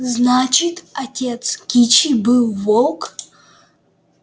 значит отец кичи был волк